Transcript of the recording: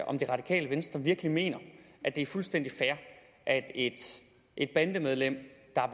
om det radikale venstre virkelig mener at det er fuldstændig fair at et bandemedlem der